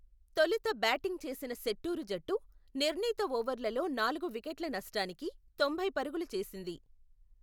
తొలుత బ్యాటింగ్ చేసిన శెట్టూరు జట్టు, నిర్ణీత ఓవర్లలో నాలుగు వికెట్ల నష్టానికి, తొంభై పరుగులు చేసింది.